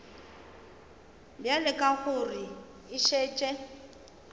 bjale ka gore e šetše